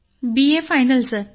sir BA final